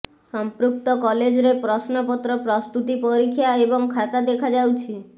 ସଂପୃକ୍ତ କଲେଜରେ ପ୍ରଶ୍ନପତ୍ର ପ୍ରସ୍ତୁତି ପରୀକ୍ଷା ଏବଂ ଖାତା ଦେଖା ଯାଉଛି